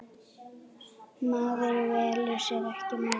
Maður velur sér ekki móður.